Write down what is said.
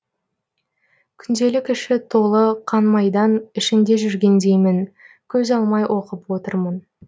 күнделік іші толы қан майдан ішінде жүргендеймін көз алмай оқып отырмын